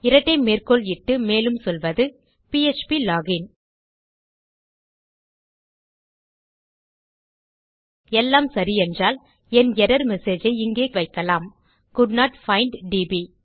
இரட்டை மேற்க்கோள் இட்டு மேலும் சொல்வது ப்ளோகின் எல்லாம் சரி என்றால் என் எர்ரர் மெசேஜ் ஐ இங்கே இடலாம் கோல்டன்ட் பைண்ட் டிபி